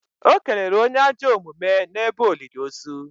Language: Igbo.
o kelere onye ajọ omume n’ebe olili ozu